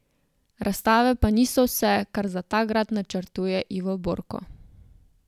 Razstave pa niso vse, kar za ta grad načrtuje Ivo Borko.